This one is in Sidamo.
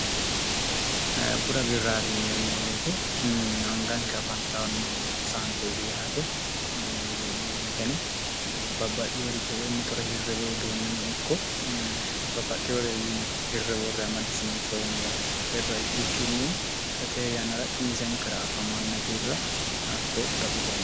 bura birraariyineeemmo weete anganke afantnno saante ifi yaate yeemmo weeteno babbaxxi yoricho woy mitore hirre woy uduunne no ikko babbaxxi hore yine hirre worre amadisinsoommo birra ikkikkinni xa teeyanara kiisenkara afamanno birra hakkoe bura biran